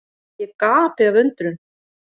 Ég gapi af undrun.